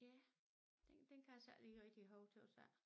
Ja den kan jeg så ikke lige rigtig huske tøs jeg